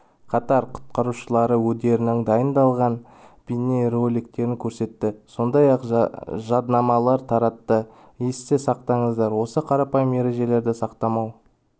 қатар құтқарушылары өдерінің дайындаған бейнероликтерін көрсетті сондай-ақ жаднамалар таратты есте сақтаңыздар осы қарапайым ережелерді сақтамау